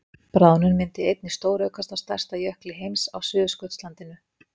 Bráðnun myndi einnig stóraukast á stærsta jökli heims á Suðurskautslandinu.